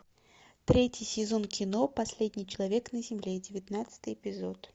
третий сезон кино последний человек на земле девятнадцатый эпизод